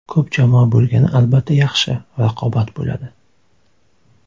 Ko‘p jamoa bo‘lgani albatta yaxshi, raqobat bo‘ladi.